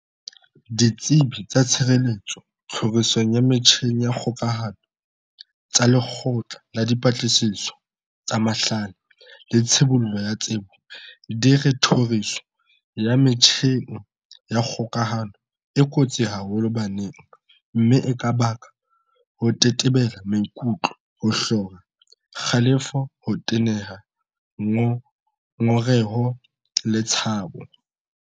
Ditsebi tsa tshireletso tlhorisong ya metjheng ya kgokahano tsa Lekgotla la Dipatlisiso tsa Mahlale le Tshibollo ya Tsebo, CSIR, di re tlhoriso ya metjheng ya kgokahano e kotsi haholo baneng mme e ka baka ho tetebela maikutlo, ho hlora, kgalefo, ho teneha, ngongereho le tshabo.